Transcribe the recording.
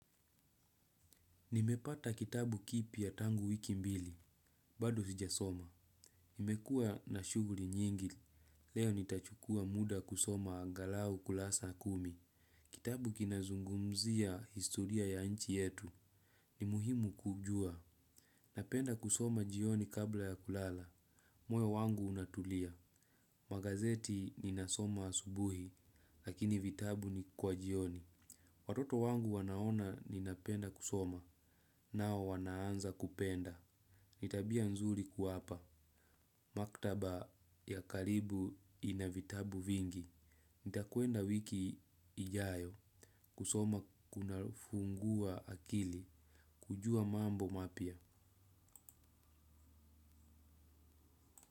Nimepata kitabu kipya tangu wiki mbili, bado sijasoma. Nimekua na shughuli nyingi, leo nitachukua muda kusoma angalau kurasa kumi. Kitabu kinazungumzia historia ya nchi yetu. Ni muhimu kuujua. Napenda kusoma jioni kabla ya kulala, moyo wangu unatulia. Magazeti ninasoma asubuhi, lakini vitabu ni kwa jioni. Watoto wangu wanaona ninapenda kusoma, nao wanaanza kupenda. Ni tabia nzuri kuwapa. Maktaba ya karibu ina vitabu vingi. Nitakwenda wiki ijayo. Kusoma kunafungua akili. Kujua mambo mapia.